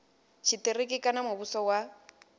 tshitiriki kana kha muvhuso wa